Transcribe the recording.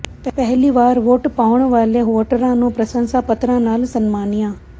ਪਹਿਲੀ ਵਾਰ ਵੋਟ ਪਾਉਣ ਵਾਲੇ ਵੋਟਰਾਂ ਨੂੰ ਪ੍ਰਸੰਸਾ ਪੱਤਰਾਂ ਨਾਲ ਸਨਮਾਨਿਆ